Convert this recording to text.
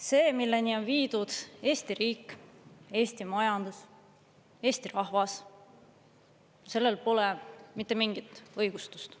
See, milleni on viidud Eesti riik, Eesti majandus, Eesti rahvas, sellel pole mitte mingit õigustust.